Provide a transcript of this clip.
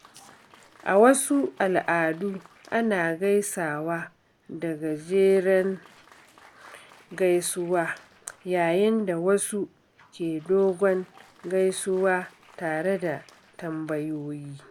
A wasu al’adu, ana gaisawa da gajeren gaisuwa yayin da wasu ke dogon gaisuwa tare da tambayoyi.